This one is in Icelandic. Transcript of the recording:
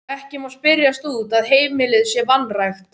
Ekki má spyrjast út að heimilið sé vanrækt.